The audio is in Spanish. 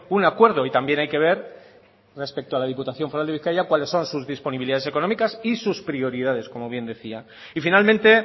un acuerdo y también hay que ver respecto a la diputación foral de bizkaia cuáles son sus disponibilidades económicas y sus prioridades como bien decía y finalmente